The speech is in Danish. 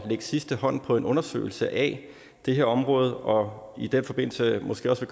sidste hånd på en undersøgelse af det her område og i den forbindelse måske også